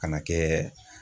Kana kɛ.